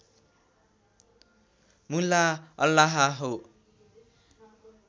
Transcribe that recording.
मुल्ला अल्लाह हो